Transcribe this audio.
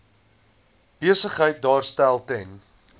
besigheid daarstel ten